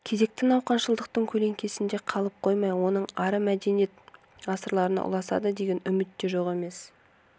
кезекті науқаншылдықтың көлеңкесінде қалып қоймай онан ары мәдениет ғасырына ұласады деген үміт те жоқ емес